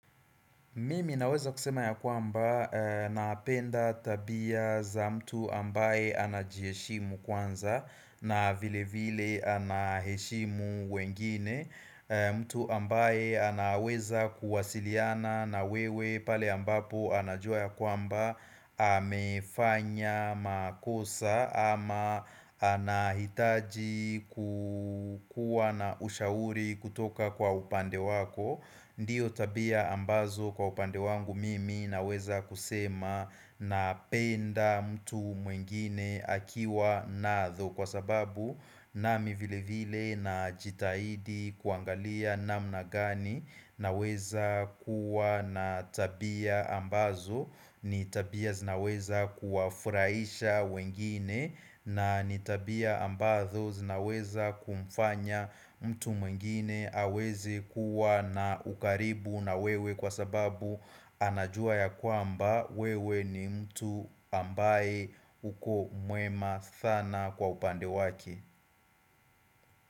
Mimi naweza kusema ya kwamba napenda tabia za mtu ambaye anajieshimu kwanza na vile vile anaheshimu wengine mtu ambaye anaweza kuwasiliana na wewe pale ambapo anajua ya kwamba amefanya makosa ama anahitaji kukua na ushauri kutoka kwa upande wako Ndiyo tabia ambazo kwa upande wangu mimi naweza kusema napenda mtu mwingine akiwa natho Kwa sababu nami vile vile najitaidi kuangalia namna gani naweza kuwa na tabia ambazo ni tabia zinaweza kuwafuraisha wengine na ni tabia ambazo zinaweza kumfanya mtu mwingine aweze kuwa na ukaribu na wewe kwa sababu anajua ya kwamba wewe ni mtu ambaye uko mwema thana kwa upande waki.